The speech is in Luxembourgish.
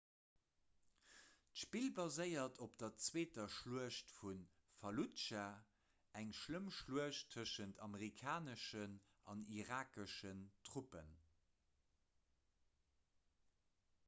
d'spill baséiert op der zweeter schluecht vu falludscha eng schlëmm schluecht tëschent amerikaneschen an irakeschen truppen